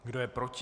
Kdo je proti?